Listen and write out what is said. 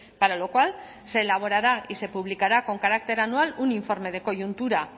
para lo cual se elaborará y se publicará con carácter anual un informe de coyuntura